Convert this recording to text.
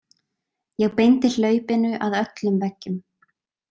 Ég beindi hlaupinu að öllum veggjum.